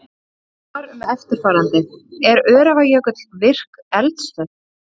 Spurt var um eftirfarandi: Er Öræfajökull virk eldstöð?